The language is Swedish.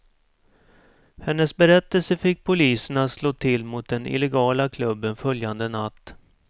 Hennes berättelse fick polisen att slå till mot den illegala klubben följande natt.